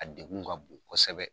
A degun ka bon kosɛbɛ.